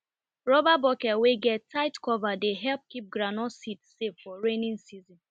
rubber bucket wey get tight cover dey help keep groundnut seed safe for rainy season